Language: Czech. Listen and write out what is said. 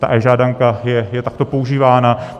E-žádanka je takto používána.